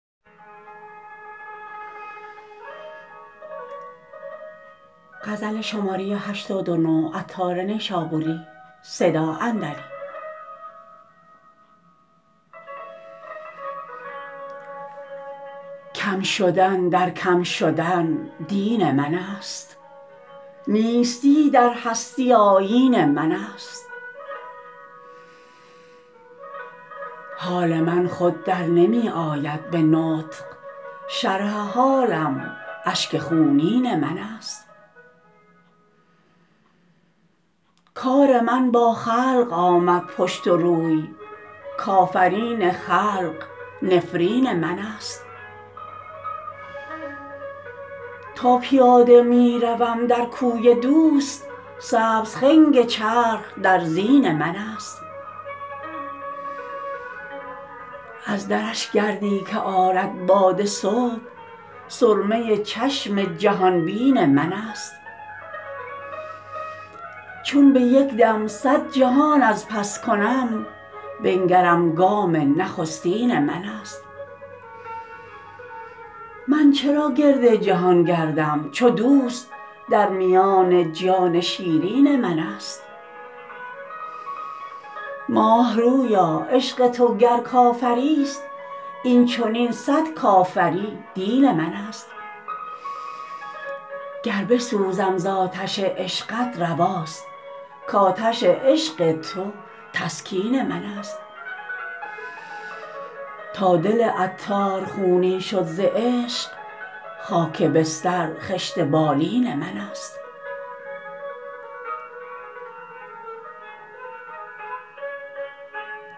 کم شدن در کم شدن دین من است نیستی در هستی آیین من است حال من خود در نمی آید به نطق شرح حالم اشک خونین من است کار من با خلق آمد پشت و روی کافرین خلق نفرین من است تا پیاده می روم در کوی دوست سبز خنگ چرخ در زین من است از درش گردی که آرد باد صبح سرمه چشم جهان بین من است چون به یک دم صد جهان از پس کنم بنگرم گام نخستین من است من چرا گرد جهان گردم چو دوست در میان جان شیرین من است ماه رویا عشق تو گر کافری است این چنین صد کافری دین من است گر بسوزم زآتش عشقت رواست کآتش عشق تو تسکین من است تا دل عطار خونین شد ز عشق خاک بستر خشت بالین من است